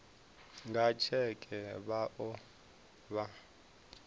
nga tsheke vha o vha